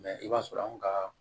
i b'a sɔrɔ anw ka